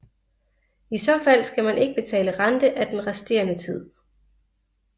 I så fald skal man ikke betale rente af den resterende tid